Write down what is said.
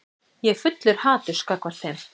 Ég er fullur haturs gagnvart þeim.